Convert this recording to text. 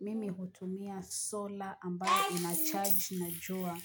mimi hutumia sola ambayo unacharge na jua.